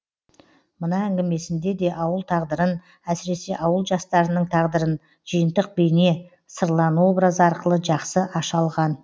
мына әңгімесінде де ауыл тағдырын әсіресе ауыл жастарының тағдырын жиынтық бейне сырлан образы арқылы жақсы аша алған